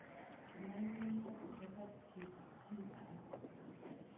Meiyanat kopar chito chi ake